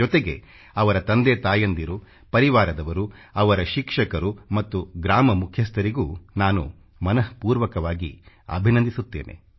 ಜೊತೆಗೆ ಅವರ ತಂದೆ ತಾಯಂದಿರು ಪರಿವಾರದವರು ಅವರ ಶಿಕ್ಷಕರು ಮತ್ತು ಗ್ರಾಮ ಮುಖ್ಯಸ್ಥರಿಗೂ ನಾನು ಮನಃಪೂರ್ವಕವಾಗಿ ಅಭಿನಂದಿಸುತ್ತೇನೆ